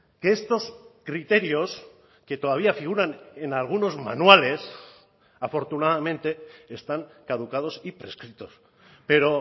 que estos criterios que todavía figuran en algunos manuales afortunadamente están caducados y prescritos pero